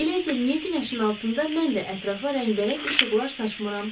Elə isə niyə günəşin altında mən də ətrafa rəngbərəng işıqlar saçmıram?